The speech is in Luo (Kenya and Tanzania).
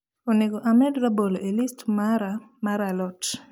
onego amed rabolo e list mara mar a lot